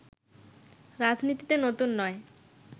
রাজনীতিতে নতুন নয়